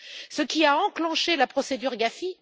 Ce qui a enclenché la procédure du GAFI!